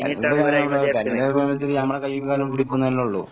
തെരഞ്ഞെടുപ്പ് സമയത്ത് നമ്മടെ കൈയ്യും കാലും പിടിക്കൂന്നല്ലേ ഉള്ളു.